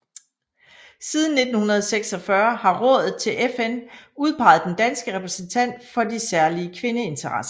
Siden 1946 har rådet til FN udpeget den danske repræsentant for de særlige kvindeinteresser